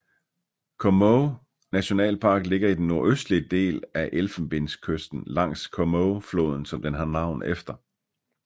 Comoé nationalpark ligger i den nordøstlige del af Elfenbenskysten langs Comoéfloden som den har navn efter